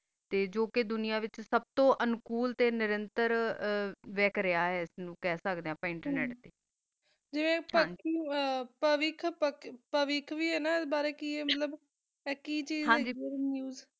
ਤਾ ਆ ਦੁਨਿਯਾ ਵਿਤਚ ਸੁ ਤੋ ਜ਼ਾਯਦਾ ਵਖ ਰਹਾ ਆ ਸੁਬ ਤੋ ਜ਼ਾਯਦਾ ਤਾ ਆ internet ਵੀ ਆ ਨਾ ਤਾ ਆ ਕੀ ਚੀਜ਼ ਆ ਹਨ ਜੀ